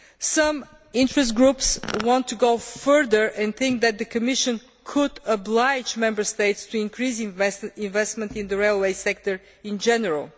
Some interest groups want to go further and think that the Commission could oblige Member States to increase investment in the railway sector in general.